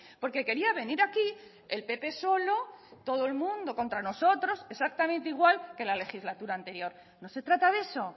porque quería venir aquí el pp solo todo el mundo contra nosotros exactamente igual que la legislatura anterior no se trata de eso